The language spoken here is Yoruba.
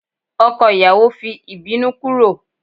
ọkọ ìyàwó fi ibinu kúrò